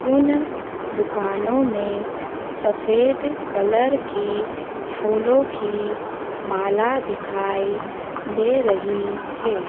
उन दुकानों में सफेद कलर की फूलों की माला दिखाई दे रही है।